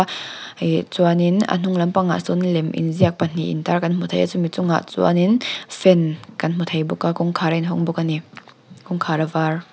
ih chuanin ah hnung lam pangah sawn lem inziak pahnih in tar kan hmu thei a chumi chungah chuanin fan kan hmu thei bawk a kawngkhar a in hawng bawk ani kawngkhar a var--